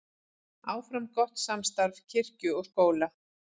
Áfram gott samstarf kirkju og skóla